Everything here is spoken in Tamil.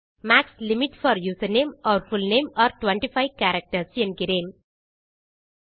max limit for username or full name are 25 characters என்கிறேன்